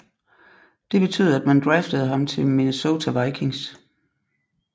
Det betød at man draftede ham til Minesota Vikings